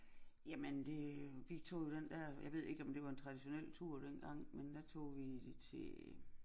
Jamen det jo vi tog jo den dér jeg ved ikke om det var en traditionel tur dengang men der tog vi til